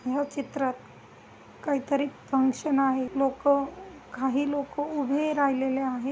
या चित्रात काहीतरी फंक्शन आहे. लोक काही लोक उभे राहिले ले आहे.